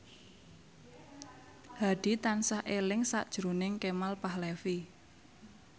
Hadi tansah eling sakjroning Kemal Palevi